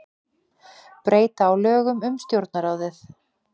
Breyta á lögum um Stjórnarráðið